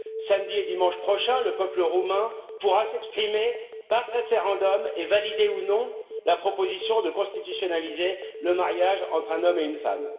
Samedi et dimanche prochains, le peuple roumain pourra s'exprimer par référendum et valider ou non la proposition de constitutionnaliser le mariage entre un homme et une femme.